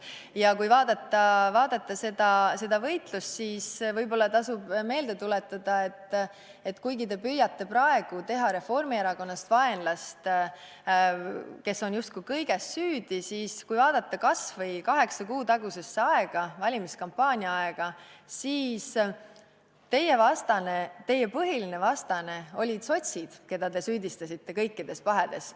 Ja kui vaadata seda võitlust, siis võib-olla tasub meelde tuletada, et kuigi te püüate praegu teha vaenlast Reformierakonnast, kes on justkui kõiges süüdi, olid kaheksa kuud tagasi, valimiskampaania ajal teie põhilised vastased sotsid, keda te süüdistasite kõikides pahedes.